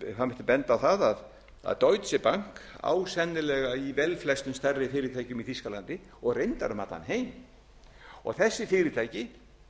það mætti benda á það að deutsche bank á sennilega í velflestum stærri fyrirtækjum í þýskalandi og reyndar um allan heim þessi fyrirtæki